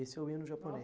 Esse é o hino